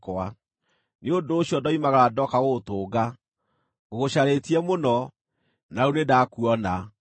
Nĩ ũndũ ũcio ndoimagara, ndooka gũgũtũnga; ngũgũcarĩtie mũno, na rĩu nĩndakuona!